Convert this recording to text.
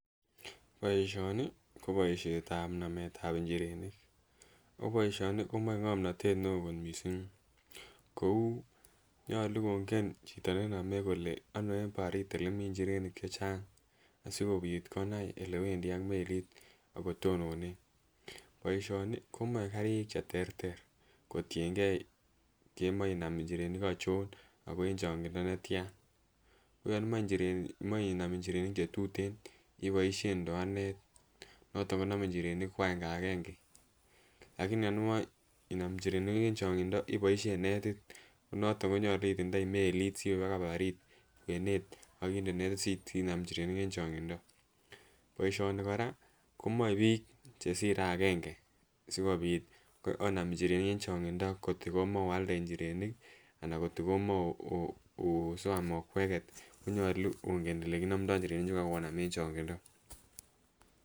Boisioni ko boisetab nametab njirenik ako boisioni komoe ngomnotet neoo kot missing kou nyolu kongen chito nenome kole ano eng barit elemii njirenik chechang asikobit konai elewendii ak melit akotononen. Boisioni komoe karik cheterter kotiengee kemoe inam njirenik anchon ako en chongindo netyan ako yon imoe njiren imoe inam njirenik chetuten iboisien ndoanet noton konome njirenik ko agenge agenge ak yon imoe inam njirenik en chokyindo iboisien netit noton konyolu itindoi melit siwe mpaka barit kwenet akinde netit sinam njirenik en chongindo. Boisioni komoe biik chesire agenge sikobit onam njirenik en chongindo ngot komoe oalde njirenik anan ngot komoe [um]soam okweket konyolu ongen elekinomdoo njirenik en chokyindo